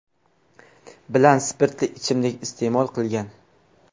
bilan spirtli ichimlik iste’mol qilgan.